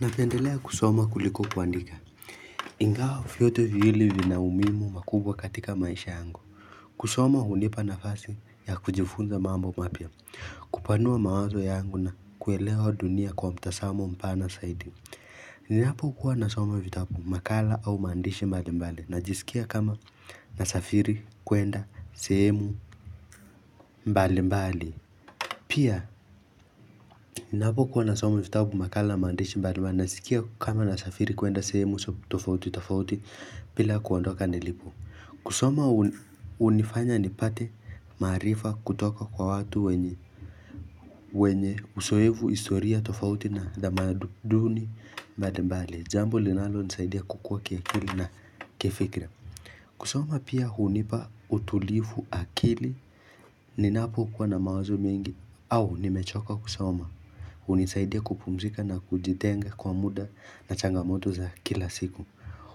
Napendelea kusoma kuliko kuandika ingawa vyote viwili vina umuhimu mkubwa katika maisha yangu kusoma hunipa nafasi ya kujifunza mambo mapya kupanua mawazo yangu na kuelewa dunia kwa mtazamo mpana zaidi Ninapo kuwa nasoma vitabu makala au mandishi mbali mbali ninajisikia kama nasafiri kwenda sehemu mbali mbali Pia, ninapo kuwa nasoma vitabu makala maandishi mbali mbali naskia kama nasafiri kuenda sehemu tofauti tofauti bila kuondoka nilipo. Kusoma hunifanya nipate maarifa kutoka kwa watu wenye uzoefu historia tofauti na tamaduni mbali mbali. Jambo linalonisaidia kukua kiakili na kifikra. Kusoma pia hunipa utulivu akili ninapo kuwa na mawazo mingi au nimechoka kusoma. Hunisaidia kupumzika na kujitenga kwa muda na changamoto za kila siku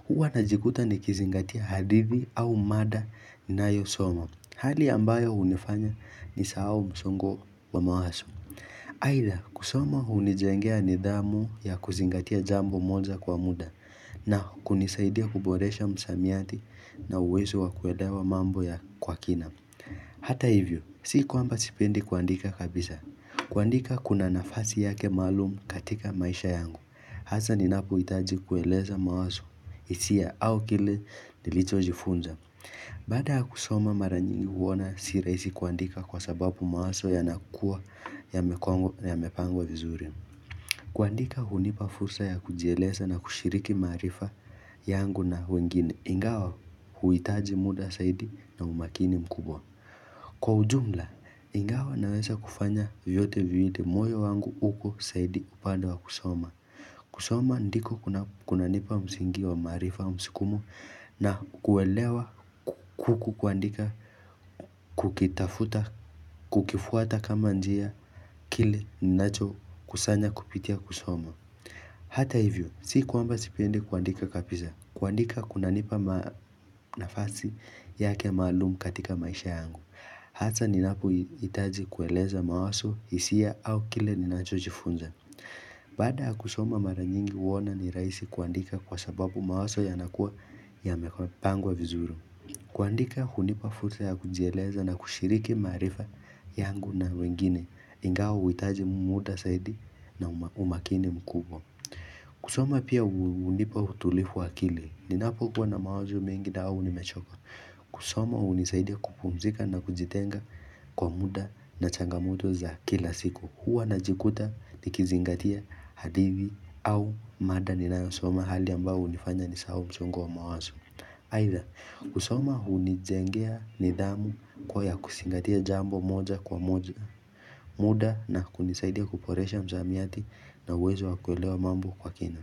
Huwa na jikuta nikizingatia hadithi au mada ninayo somo Hali ambayo hunifanya nisahau msongo wa mawazo Ila kusoma hunijengea nidhamu ya kuzingatia jambo moja kwa muda na kunisaidia kuboresha msamiati na uwezo wa kuelewa mambo kwa kina Hata hivyo, si kuamba sipendi kuandika kabisa kuandika kuna nafasi yake maalumu katika maisha yangu, hasa ninapohitaji kueleza mawazo hisia au kile nilichojifunza. Baada ya kusoma mara nyingi huona si rahisi kuandika kwa sababu mawazo yanakua yamepangwa vizuri. Kuandika hunipa fursa ya kujieleza na kushiriki maarifa yangu na wengine ingawa huitaji muda zaidi na umakini mkubwa. Kwa ujumla, ingawa naweza kufanya vyote viwili moyo wangu uko zaidi upande wa kusoma kusoma ndiko kunanipa msingi wa maarifa msukumo na kuelewa kuandika kukitafuta kukifuata kama njia kile ninacho kusanya kupitia kusoma Hata hivyo, si kuamba sipendi kuandika kabisa, kuandika kunanipa nafasi yake maalumu katika maisha yangu Hasa ninapohitaji kueleza mawazo hisia au kile ninachojifunza. Baada ya kusoma mara nyingi huona ni rahisi kuandika kwa sababu mawazo yanakua yamepangwa vizuri. Kuandika hunipa fursa ya kunjieleza na kushiriki maarifa yangu na wengine ingawa huhitaji muda zaidi na umakini mkubwa. Kusoma pia hunipa utulivu wa akili. Ninapokua na mawazo mingi dau nimechoka. Kusoma hunisaidia kupumzika na kujitenga kwa muda na changamoto za kila siku Huwa najikuta nikizingatia hadithi au mada ninayosoma hali ambayo hunifanya nisahau msongo wa mawazo aidha, kusoma hunijengea nidhamu kuwa kuzingatia jambo moja kwa moja muda na kunisaidia kuboresha msamiati na uwezo wa kuelewa mambo kwa kina.